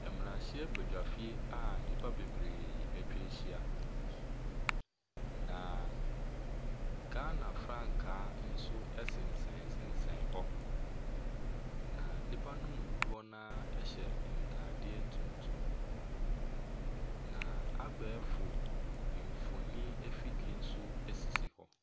Mmarahyɛbadwafie a nnipa bebree atwa ahyia, na Ghana frankaa nso sensɛnsensɛn hɔ, na nnipa no mu dodoɔ no ara hyɛ ntadeɛ tuntum, na abɛɛfo mfonin afidie nso sisi hɔ.